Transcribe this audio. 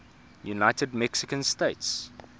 united mexican states